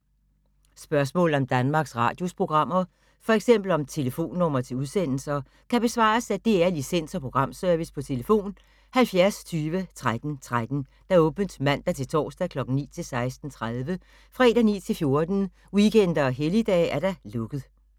Spørgsmål om Danmarks Radios programmer, f.eks. om telefonnumre til udsendelser, kan besvares af DR Licens- og Programservice: tlf. 70 20 13 13, åbent mandag-torsdag 9.00-16.30, fredag 9.00-14.00, weekender og helligdage: lukket.